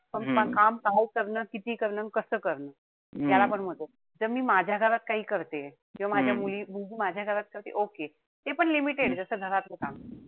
पण काम काय करणं, किती करणं अन कस करणं त्यालापण महत्वय. जर मी माझ्या घरात काही करतेय. किंवा माझ्या मुली माझ्या घरात, okay तेपण limited जस घरातल काम.